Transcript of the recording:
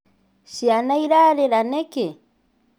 Cĩana irarĩra nĩkĩ?